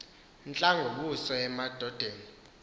ntla ngobuso bamadoda